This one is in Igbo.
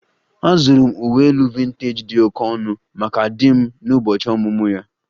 Azụrụ m uwe elu vintej dị oke ọnụ maka di m n'ụbọchị ọmụmụ ya